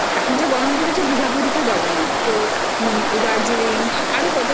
ছুটি পেলেই তো আমরা North Bengal এর দিকেই দৌড়াই